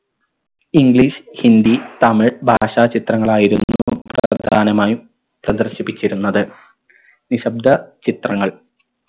english Hindi Tamil ഭാഷ ചിത്രങ്ങളായിരുന്നു പ്രധാനമായും പ്രദർശിപ്പിച്ചിരുന്നത് നിശബ്ദ ചിത്രങ്ങൾ